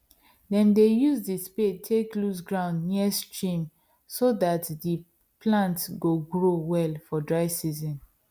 dem dey use the spade take loose ground near stream so that the plant go grow well for dry season